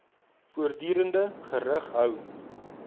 voortdurend gerig hou